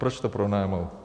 Proč to pronajal?